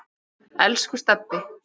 Elsku Stebbi.